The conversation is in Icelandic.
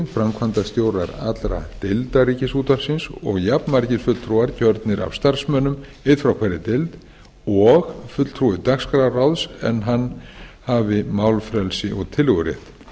framkvæmdastjórar allra deilda ríkisútvarpsins og jafnmargir fulltrúar kjörnir af starfsmönnum einn frá hverri deild og fulltrúi dagskrárráðs en hann hafi málfrelsi og tillögurétt